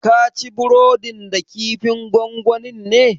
Kaci burodin da kifin gongonin ne?